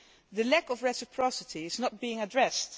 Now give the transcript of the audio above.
The lack of reciprocity is not being addressed.